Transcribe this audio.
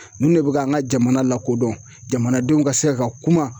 Ninnu de bɛ ka an ka jamana lakodɔn jamanadenw ka se ka kuma